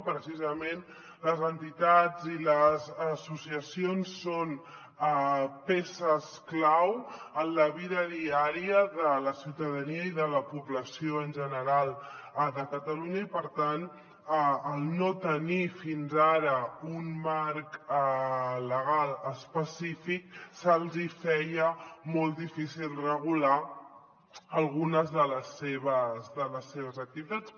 precisament les entitats i les associacions són peces clau en la vida diària de la ciutadania i de la població en general de catalunya i per tant al no tenir fins ara un marc legal específic se’ls hi feia molt difícil regular algunes de les seves activitats